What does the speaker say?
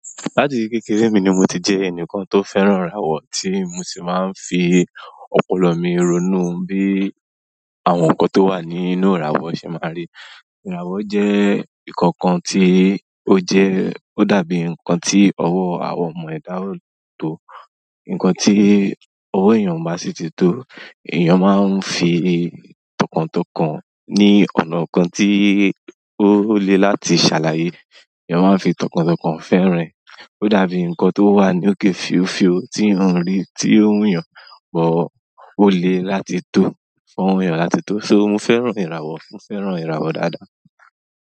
Láti kékeré mi ni mo ti jẹ́ ẹnìkan tó fẹ́ràn ìràwọ̀, tí mo sì máa ń fi ọpọlọ mi ronú bí àwọn nǹkan tó wà nínú ìràwọ̀ ṣe máa rí. Ìràwọ̀ jẹ́ nǹkan kan tí ó jẹ́ ó dàbí nǹkan tí ọwọ́ àwọn ọmọ ẹ̀dá lè tó. Nkan ti ọwọ èyán o ba si ti to èyán má n fi tọkàntọkàn ni ọnà kàn ti ole láti sàlàyé èyán máa n fi tọkàntọkàn fẹ́ràn ẹ̀. Ó dàbí nǹkan tó wà ní òkè fiofio tí iyan rí tí ó wù yàn, bọ́ ó le láti tò fún ọwọ èèyàn láti tò. To mo fẹ́ràn ìràwọ̀ mo fẹ́ràn ìràwọ̀ dáadáa.